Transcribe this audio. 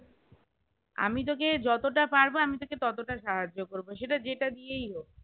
আমি তোকে যতটা পারবো আমি তোকে ততটা সাহায্য করবো সেটা যেটা দিয়েই হোক